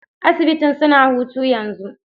Asibitin suna hutu yanzo.